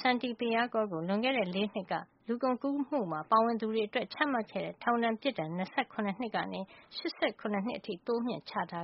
Santipiyakul ကို လွန်ခဲ့တဲ့ ၄ နှစ်က လူကုန်ကူးမှုမှာ ပါဝင်သူတွေအတွက် ချမှတ်ခဲ့တဲ့ မူလ ထောင်ဒဏ် ၂၇ နှစ်ကနေ ၈၇ နှစ် အထိ တိုးမြှင့် ချထာ